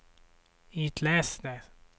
itläs det